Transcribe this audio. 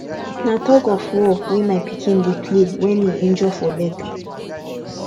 na tug of war wey my pikin dey play wen he injure for leg